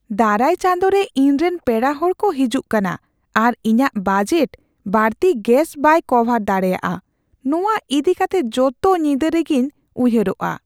ᱫᱟᱨᱟᱭ ᱪᱟᱸᱫᱳ ᱨᱮ ᱤᱧᱨᱮᱱ ᱯᱮᱲᱟ ᱦᱚᱲ ᱠᱚ ᱦᱤᱡᱩᱜ ᱠᱟᱱᱟ, ᱟᱨ ᱤᱧᱟᱹᱜ ᱵᱟᱡᱮᱴ ᱵᱟᱹᱲᱛᱤ ᱜᱮᱥ ᱵᱟᱭ ᱠᱚᱵᱷᱟᱨ ᱫᱟᱲᱮᱭᱟᱜᱼᱟ ᱾ ᱱᱚᱶᱟ ᱤᱫᱤ ᱠᱟᱛᱮ ᱡᱚᱛᱚ ᱧᱤᱫᱟᱹ ᱨᱮᱜᱤᱧ ᱩᱭᱦᱟᱹᱨᱚᱜᱼᱟ ᱾